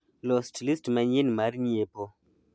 los list manyien mar nyiepo